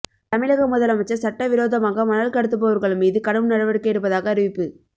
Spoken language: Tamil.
தமிழக முதல் அமைச்சர் சட்ட விரோதமாக மணல் கடத்துபவர்கள் மீது கடும்நடவடிக்கை எடுப்பதாக அறிவி்ப்பு